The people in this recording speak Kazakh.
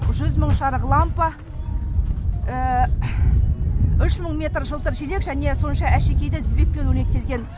жүз мың жарық лампа үш мың метр жылтыр желек және сонша әшекейлі тізбекпен өрнектелген